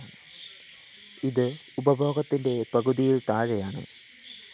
ഇത് ഉപഭോഗത്തിന്റെ പകുതിയില്‍ താഴെയാണ്